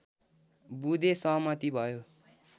बुँदे सहमति भयो